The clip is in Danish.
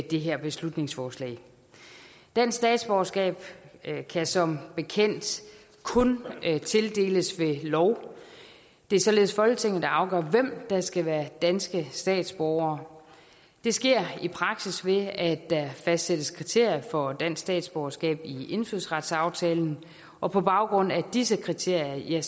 det her beslutningsforslag dansk statsborgerskab kan kan som bekendt kun tildeles ved lov det er således folketinget der afgør hvem der skal være danske statsborgere det sker i praksis ved at der fastsættes kriterier for dansk statsborgerskab i indfødsretsaftalen og på baggrund af disse kriterier